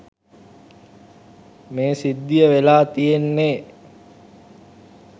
මේ සිද්ධිය වෙලා තියෙන්නේ.